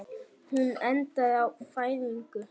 Hún endaði á fæðingu.